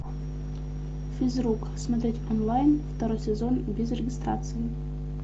физрук смотреть онлайн второй сезон без регистрации